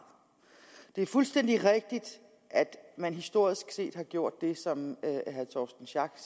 det er fuldstændig rigtigt at man historisk set har gjort det som herre torsten schack